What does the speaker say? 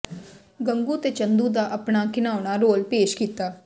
ਗੰਗੂ ਤੇ ਚੰਦੂ ਦਾ ਆਪਣਾ ਘਿਨਾਉਣਾ ਰੋਲ ਪੇਸ਼ ਕੀਤਾ